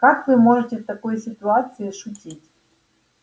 как вы можете в такой ситуации шутить